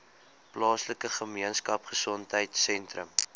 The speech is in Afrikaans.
plaaslike gemeenskapgesondheid sentrum